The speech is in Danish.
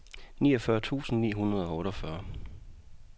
niogfyrre tusind ni hundrede og otteogfyrre